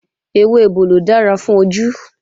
Ewé ebòlò dára fún ojú